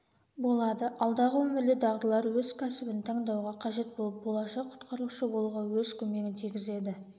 болады алдағы өмірде дағдылар өз кәсібін таңдауға қажет болып болашақ құтқарушы болуға өз көмегін тигізеді